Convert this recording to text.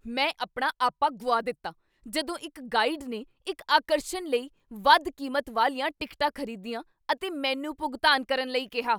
ਮੈਂ ਆਪਣਾ ਆਪਾ ਗੁਆ ਦਿੱਤਾ ਜਦੋਂ ਇੱਕ ਗਾਈਡ ਨੇ ਇੱਕ ਆਕਰਸ਼ਣ ਲਈ ਵੱਧ ਕੀਮਤ ਵਾਲੀਆਂ ਟਿਕਟਾਂ ਖ਼ਰੀਦੀਆਂ ਅਤੇ ਮੈਨੂੰ ਭੁਗਤਾਨ ਕਰਨ ਲਈ ਕੀਹਾ।